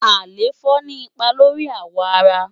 àléfọ ni ipá lóri áwọ àrá